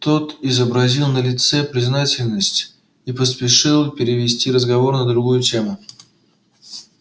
тот изобразил на лице признательность и поспешил перевести разговор на другую тему